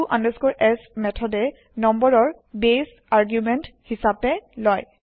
to s মেঠদে নম্বৰৰ base argument হিচাপে লয়